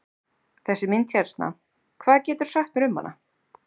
Þessi mynd hérna, hvað geturðu sagt mér um hana?